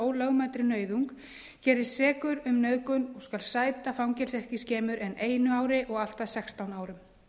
ólögmætri nauðung gerist sekur um nauðgun og skal sæta fangelsi ekki skemur en eitt ár og allt að sextán árum